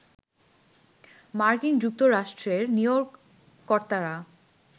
মার্কিন যুক্তরাষ্ট্রের নিয়োগকর্তারা